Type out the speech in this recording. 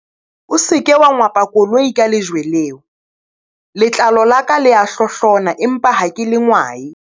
O se ke wa ngwapa koloi ka lejwe leo, letlalo la ka le a hlohlona empa ha ke le ngwae.